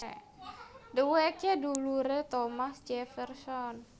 Dhéwéké duluré Thomas Jefferson